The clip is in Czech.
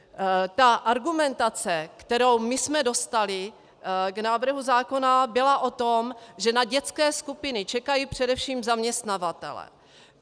Ta argumentace, kterou my jsme dostali k návrhu zákona, byla o tom, že na dětské skupiny čekají především zaměstnavatelé.